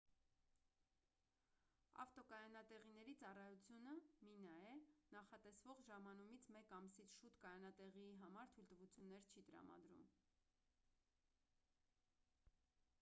ավտոկայանատեղիների ծառայությունը մինաե նախատեսվող ժամանումից մեկ ամսից շուտ կայանատեղիի համար թույլտվություններ չի տրամադրում։